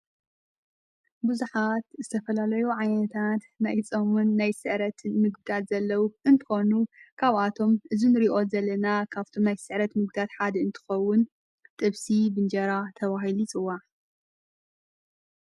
ብዙኃት ዝተፈላለዩ ዓይንታት ማይጾምን ናይ ሥዕረት ምግዳት ዘለዉ እንኮኑ ካብኣቶም ዝን ሪዮት ዘለና ካብቶም ናይ ሥዕረት ምጕዳት ሓድ እንትኸውን ጠብሲ ብንጀራ ተባሂሊ ይጽዋእ::